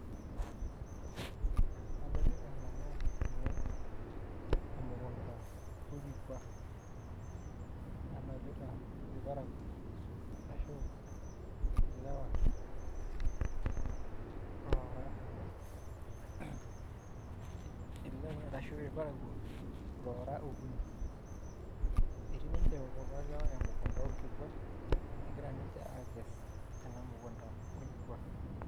Adolita nanu tene emukunda olkikua nadolita ilparakio ashu ilewa loora okuni Etii ninje kulo lewa emukunda olkikua egira ninje akes ena mukunda olkikua